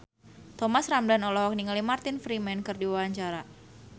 Thomas Ramdhan olohok ningali Martin Freeman keur diwawancara